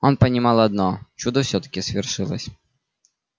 он понимал одно чудо всё-таки свершилось